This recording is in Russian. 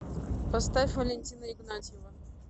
поставь валентина игнатьева